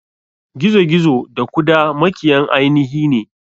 Gizo gizo da kuda makiyan ainihine.